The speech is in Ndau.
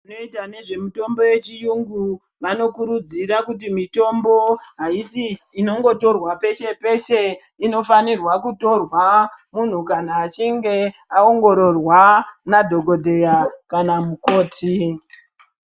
Vanoita nezvemitombo yechirungu vanokurudzira kuti mitombo haisi inongotorwa peshe peshe inofana kutorwa munhu kana achinge aongororwa nadhokodheya kana mukoti.